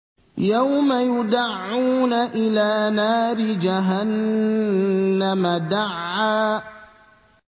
يَوْمَ يُدَعُّونَ إِلَىٰ نَارِ جَهَنَّمَ دَعًّا